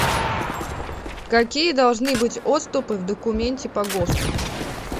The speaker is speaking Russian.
какие должны быть отступы в документе по госту